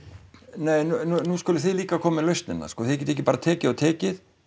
nei nú skulið þið líka koma með lausnirnar þið getið ekki bara tekið og tekið